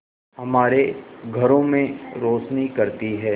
हमारे घरों में रोशनी करती है